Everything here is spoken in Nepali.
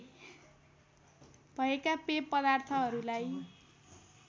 भएका पेय पदार्थहरूलाई